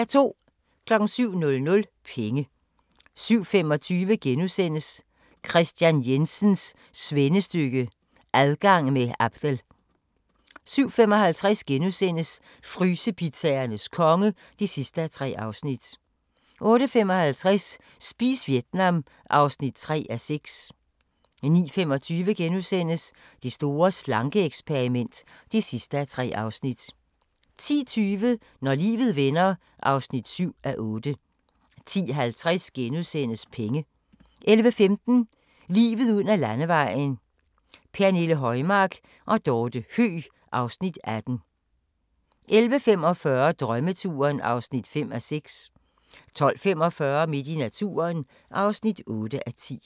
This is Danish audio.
07:00: Penge 07:25: Kristian Jensens svendestykke – Adgang med Abdel * 07:55: Frysepizzaernes konge (3:3)* 08:55: Spis Vietnam (3:6) 09:25: Det store slanke-eksperiment (3:3)* 10:20: Når livet vender (7:8) 10:50: Penge * 11:15: Livet ud ad landevejen: Pernille Højmark og Dorte Høeg (Afs. 18) 11:45: Drømmeturen (5:6) 12:45: Midt i naturen (8:10)